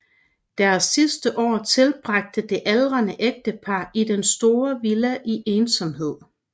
Deres sidste år tilbragte det aldrende ægtepar i den store villa i ensomhed